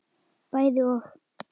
Bæði og.